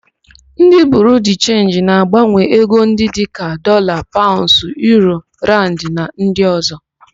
Ndị Biriu de Chenji na-agbanwe ego ndị dịka: Dọlaa, Paụnds, Uuro, Rand na ndị ọ̀zọ́.